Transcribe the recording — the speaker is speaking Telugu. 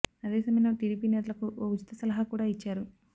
అదే సమయంలో టీడీపీ నేతలకు ఓ ఉచిత సలహా కూడా ఇచ్చారు